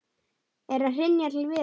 Er að hrynja til viðar.